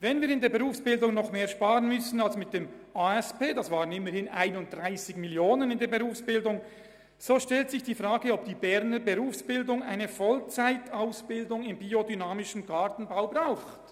Wenn wir in der Berufsbildung noch mehr sparen müssen als dies im Zusammenhang mit der ASP der Fall war – das waren immerhin 31 Mio. Franken –, so stellt sich die Frage, ob die Berner Berufsbildungslandschaft eine Vollzeitausbildung in biodynamischem Gartenbau braucht.